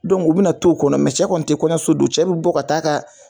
u bina na t'o kɔnɔ, cɛ kɔni ti kɔɲɔso don, cɛ bi bɔ ka taa ka